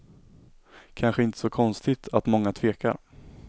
Kanske inte så konstigt att många tvekar.